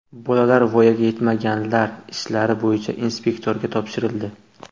Bolalar voyaga yetmaganlar ishlari bo‘yicha inspektorga topshirildi.